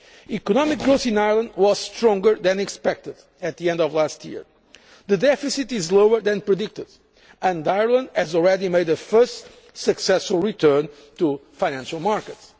cohesion. Economic growth in Ireland was stronger than expected at the end of last year, the deficit is lower than predicted and Ireland has already made a first successful return to financial